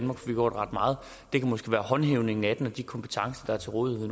har gjort ret meget det kan måske være håndhævelsen af den og de kompetencer der er til rådighed